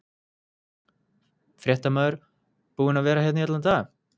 Fréttamaður: Búin að vera hérna í allan dag?